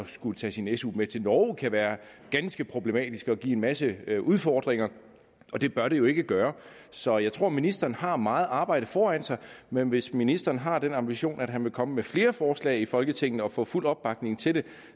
skulle tage sin su med til norge kan være ganske problematisk og give en masse udfordringer og det bør det jo ikke gøre så jeg tror at ministeren har meget arbejde foran sig men hvis ministeren har den ambition at han vil komme med flere forslag i folketinget og få fuld opbakning til det